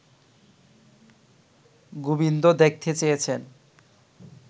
গোবিন্দ দেখতে চেয়েছেন